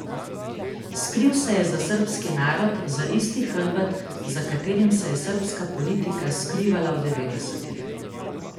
Skril se je za srbski narod, za isti hrbet, za katerim se je srbska politika skrivala v devetdesetih.